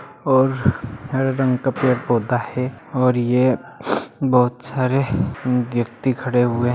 और हरे रंग का पेड़-पौधा है और ये बहुत सारे व्यक्ति खड़े हुए हैं।